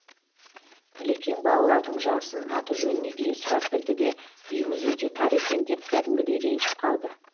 ілекең балалардың жасын аты жөніне дейін сұрап білді де үйіңіз өте тар екен деп кәдімгідей ренжіп қалды